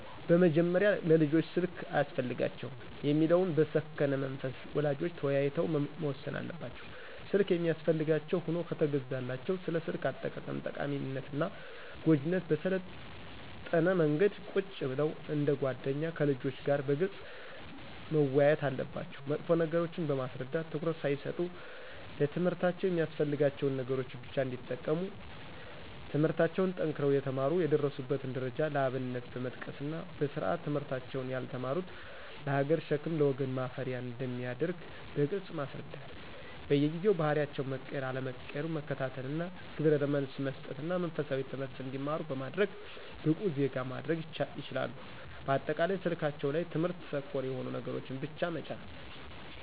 በመጀመሪያ ለልጆች ስልክ አያስፈልጋቸውም የሚለውን በሰከነ መንፈስ ወላጆች ተወያይተው መወሰን አለባቸው። ስልክ የሚያስፈልጋቸው ሁኖ ከተገዛላቸው ስለ ስልክ አጠቃቀም ጠቃሚነትና ጎጅነት በሰለጠነ መንገድ ቁጭ ብለው እንደ ጎደኛ ከልጆች ጋር በግልጽ መወያየት አለባቸው መጥፎ ነገሮችን በማስረዳት ትኩረት ሳይሰጡ ለትምህርታቸው የሚያስፈልጋቸውን ነገሮች ብቻ እንዲጠቀሙ ትምለህርታቸውን ጠንክረው የተማሩ የደረሱበትን ደረጃ ለአብነት በመጥቀስና በስርአት ትምህርታቸውን ያልተማሩት ለሀገር ሸክም ለወገን ማፈሪያ አንደሚያደርግ በግልጽ ማስረዳት በየጊዜው ባህሪያቸው መቀየር አለመቀየሩን መከታተልና ግብረመልስ መሰጠትና መንፈሳዊ ትምህርት እንዲማሩ በማድረግ ብቁ ዜጋ ማድረግ ይችላሉ። በአጠቃላይ ስልካቸው ላይ ትምህርት ተኮር የሆኑ ነገሮችን ብቻ መጫን